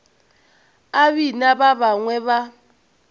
a bina ba bangwe ba